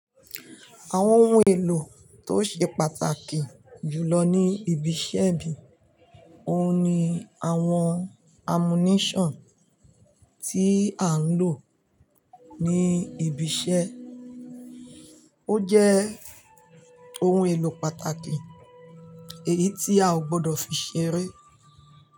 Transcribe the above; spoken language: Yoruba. Àwọn ohun èlò tó ṣe pàtàkì jù lọ ní ibiṣẹ́ bí i òun ni àwọn ammunition tí à ń lò ní ibiṣẹ́. Ó jẹ́ ohun èlò pàtàkì èyí tí a ò gbọdọ̀ fi ṣeré.